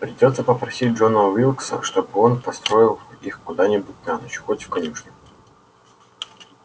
придётся попросить джона уилкса чтобы он построил их куда-нибудь на ночь хоть в конюшню